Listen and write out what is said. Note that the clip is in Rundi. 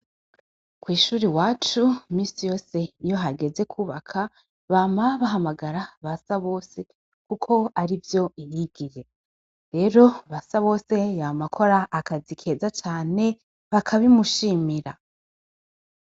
Kw'ishuri iwacu imisi yose iyohageze kwubaka bama bahamagara Basabose kuko arivyo yigiye. Rero Basabose yama akora akazi keza cane bakabimushimira.